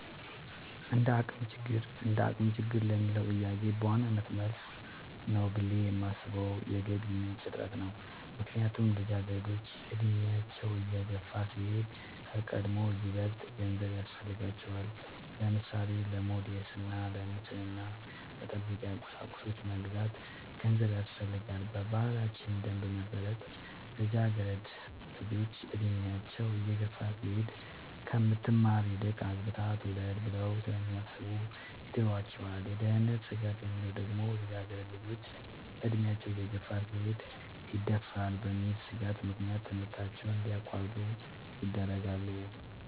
እንደአቅም ችግር ለሚለው ጥያቄ በዋናነት መልስ ነው ብሌ የማሥበው የገቢ ምንጭ እጥረት ነው። ምክንያቱም ልጃገረዶች አድሚያቸው እየገፋ ሲሄድ ከቀድሞው ይበልጥ ገንዘብ ያሥፈልጋቸዋል። ለምሳሌ:-ለሞዴስ እና ንፅህናን መጠበቂያ ቁሳቁሶች ለመግዛት ገንዘብ ያሥፈልጋል። በባህላችን ደንብ መሠረት ልጃገረድ ልጆች እድሚያቸው እየገፋ ሲሄድ ከምትማር ይልቅ አግብታ ትውለድ ብለው ስለሚያሥቡ ይድሯቸዋል። የደህንነት ስጋት የሚለው ደግሞ ልጃገረድ ልጆች አድሚያቸው እየገፋ ሲሄድ ይደፈራሉ በሚል ሥጋት ምክንያት ከትምህርታቸው እንዲያቋርጡ ይደረጋሉ።